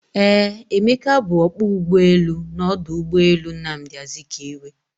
Eeh, Emeka bu ọkpọ ụgbọelu n'ọdụ ụgbọelu Nnamdi Azikiwe